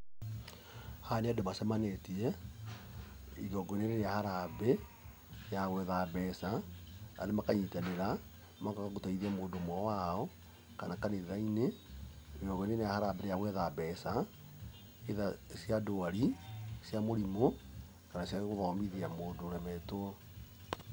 Haha nĩ andũ macemanĩtie, igongona-inĩ rĩa harambee ya gwetha mbeca, andũ makanyitanĩra, magoka gũteithia mũndũ ũmwe wao, kana kanitha-inĩ, igongona-inĩ rĩa harambee rĩa gwetha mbeca, either cia ndwari, cia mũrimũ kana cia gũthomithia mũndũ ũremetwo.